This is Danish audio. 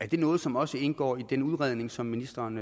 det noget som også indgår i den udredning som ministeren